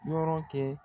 Yɔrɔ kɛ